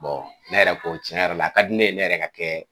ne yɛrɛ ko tiɲɛ yɛrɛ la, a ka di ne ye ne yɛrɛ ka kɛ.